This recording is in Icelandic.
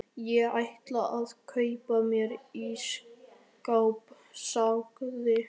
Ég ætla að kaupa mér ísskáp sagði